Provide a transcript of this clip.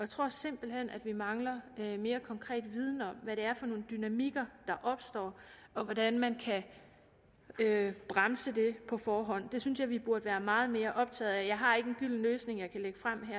tror simpelt hen at vi mangler mere konkret viden om hvad det er for nogle dynamikker der opstår og hvordan man kan bremse det på forhånd det synes jeg vi burde være meget mere optaget af jeg har ikke en gylden løsning jeg kan lægge frem